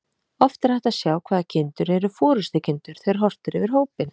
Oft er hægt að sjá hvaða kindur eru forystukindur þegar horft er yfir hópinn.